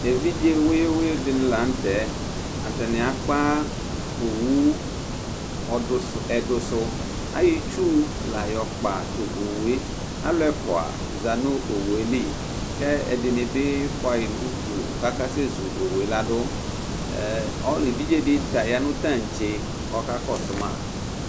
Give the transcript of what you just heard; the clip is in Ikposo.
evidze wuyʋi wuyʋi di ni la nu tɛ , ata ni akpa owu ɔdu, ɛdusu, ayɔ itsu la yɔ kpa tu awue alu ɛfʋa za nu owu yɛ li, ku ɛdini bi fʋa yi nu udu kaka sɛ zu owu yɛ la du, ɛ, ɔli, evidze di ta ya nu itantse ku ɔka kɔsu ma